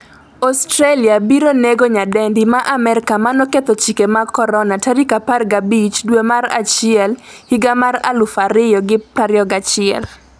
Australia biro nego nyadendi ma Amerka manoketho chike mag Corona' 15 dwe mar achiel 2021